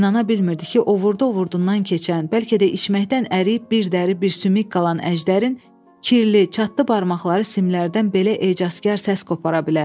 İnana bilmirdi ki, o vurdu-ovurdundan keçən, bəlkə də içməkdən əriyib bir dəri bir sümük qalan Əjdərin kirli, çatdı barmaqları simlərdən belə ecazkar səs qopara bilər.